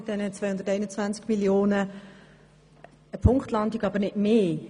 Eine Punktlandung, aber nicht mehr.